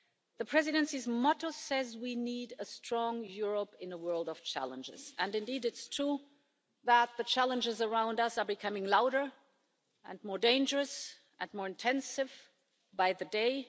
The Presidency's motto says we need a strong Europe in a world of challenges, and indeed, it's true that the challenges around us are becoming louder and more dangerous and more intensive by the day.